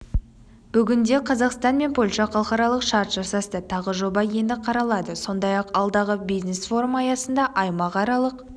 бүгінде қазақстан мен польша халықаралық шарт жасасты тағы жоба енді қаралады сондай-ақ алдағы бизнес-форум аясында аймақаралық